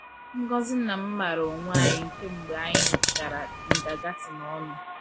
Ngozi na m maara onwe anyị kemgbe anyị gara kindergarten ọnụ.